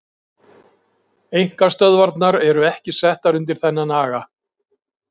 Einkastöðvarnar eru ekki settar undir þennan aga.